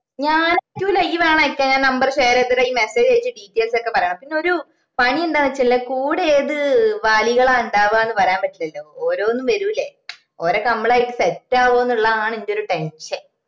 ഞാൻ അയക്കുല്ല ഇഞ് വേണേൽ അയക്ക് ഞാൻ number share ചെയ്തേരാം ഇയ്യ്‌ message അയച് details ഒക്കെ പറേണം പിന്നെ ഒരു പണി എന്താണ് വെച്ചാല് കൂടെ ഏത് വാലികളാ ഇണ്ടാവുവാന്ന് പറയാൻ പറ്റൂല്ലല്ലോ ഓരോന്ന് വെരുല്ലേ ഒരൊക്കെ മ്മളുമായിട്ട് set ആവോന്നിള്ളതാണ് എന്റെ ഒരു tension